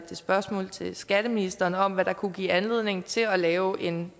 spørgsmål til skatteministeren om hvad der kunne give anledning til at lave en